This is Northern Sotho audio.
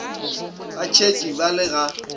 ba tshetše ba le ga